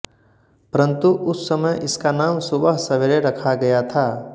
परंतु उस समय इसका नाम सुबह सवेरे रखा गया था